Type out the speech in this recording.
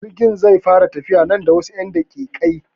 Jirgin zai fara tafiya nan da wasu 'yan daƙiƙai.